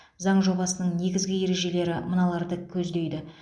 заң жобасының негізгі ережелері мыналарды көздейді